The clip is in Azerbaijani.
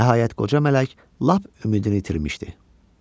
Nəhayət qoca mələk lap ümidini itirmişdi.